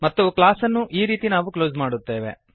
ಮತ್ತು ಕ್ಲಾಸ್ ಅನ್ನು ಈ ರೀತಿ ನಾವು ಕ್ಲೋಸ್ ಮಾಡುತ್ತೇವೆ